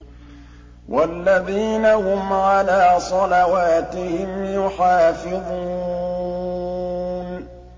وَالَّذِينَ هُمْ عَلَىٰ صَلَوَاتِهِمْ يُحَافِظُونَ